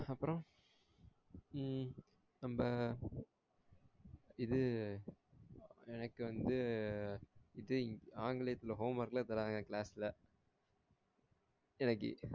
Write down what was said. அப்பறம் உம் அந்த இது எனக்கு வந்து இது ஆங்கிலத்துல home work லாம் தரங்கா class ல எப்டி